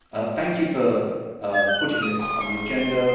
Thank you for putting this on the agenda.